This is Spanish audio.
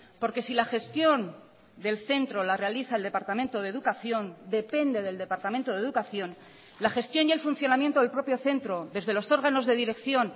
porque si la gestión del centro la realiza el departamento de educación depende del departamento de educación la gestión y el funcionamiento del propio centro desde los órganos de dirección